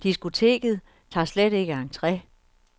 Diskoteket tager slet ikke entre.